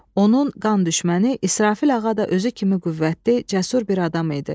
Onun qan düşməni İsrafil ağa da özü kimi qüvvətli, cəsur bir adam idi.